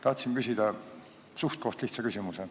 Tahtsin küsida suhtkoht lihtsa küsimuse.